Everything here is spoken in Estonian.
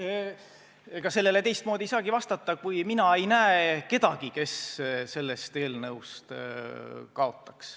Jah, ega sellele teistmoodi ei saagi vastata, kui et mina ei näe kedagi, kes sellest eelnõust kaotaks.